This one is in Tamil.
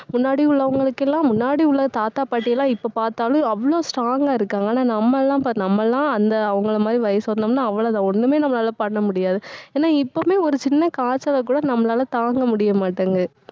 முன்னாடி உள்ளவங்களுக்கு எல்லாம், முன்னாடி உள்ள, தாத்தா பாட்டி எல்லாம் இப்ப பார்த்தாலும் அவ்வளவு strong ஆ இருக்காங்க. ஆனா நம்மெல்லாம் நம்மெல்லாம் அந்த, அவங்களை மாதிரி வயசு வரணும்ன்னா அவ்வளவுதான். ஒண்ணுமே நம்மளால பண்ண முடியாது ஏன்னா எப்பவுமே ஒரு சின்ன காய்ச்சலை கூட நம்மளால தாங்க முடிய மாட்டேங்குது.